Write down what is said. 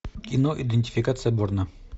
кино идентификация борна